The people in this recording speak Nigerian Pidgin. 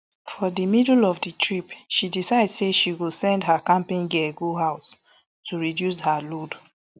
for di middle of di trip she decide say she go send her camping gear go house to reduce her load